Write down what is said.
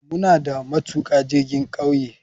Muna da matuka jirgin kauye.